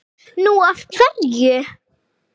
Nú. af hverju?